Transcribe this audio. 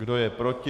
Kdo je proti?